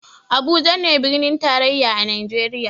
Abuja ne birnin tarayya a najeriya